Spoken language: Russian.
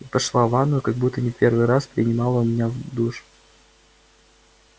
и пошла в ванную как будто не в первый раз принимала у меня душ